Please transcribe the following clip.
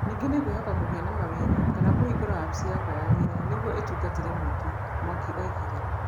Ningĩ nĩ ngwĩhoka kũgĩa na mawĩra kana kũhingũra wabici yakwa ya wĩra nĩgũo itungatĩre mũingĩ", Mwangi oigire.